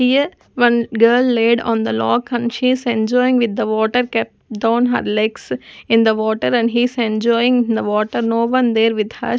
here one girl laid on the lock and she is enjoying with the water kept down her legs in the water and he is enjoying in the water no one there with her.